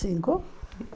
Cinco.